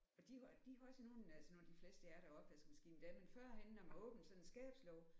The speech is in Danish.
Og de de havde sådan nogle altså nu i de fleste er der opvaskemaskine i dag men førhen når man åbnede sådan en skabslåge